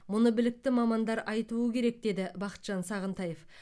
мұны білікті мамандар айтуы керек деді бақытжан сағынтаев